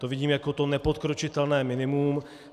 To vidím jako to nepodkročitelné minimum.